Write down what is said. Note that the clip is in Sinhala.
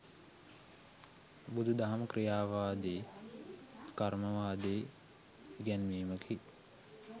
බුදුදහම ක්‍රියාවාදී කර්මවාදී ඉගැන්වීමකි.